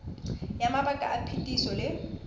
ya mabaka a phetiso le